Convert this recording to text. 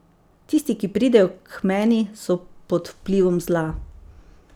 Tisti, ki pridejo k meni, so pod vplivom zla.